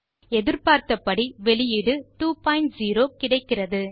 எதிர்பார்த்த வெளியீடு 20 கிடைக்கிறது